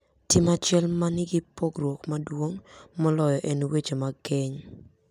Tim achiel manigi pogruok maduong` moloyo en weche mag keny.